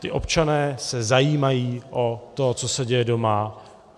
Ti občané se zajímají o to, co se děje doma.